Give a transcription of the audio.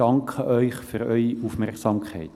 Ich danke Ihnen für Ihre Aufmerksamkeit.